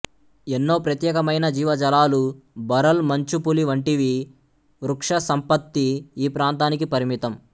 ఎన్నో ప్రత్యేకమైన జీవజాలాలు భరల్ మంచుపులి వంటివి వృక్ష సంపత్తి ఈ ప్రాంతానికి పరిమితం